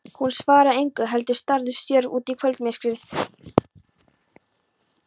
Hún svaraði engu heldur starði stjörf út í kvöldmyrkrið.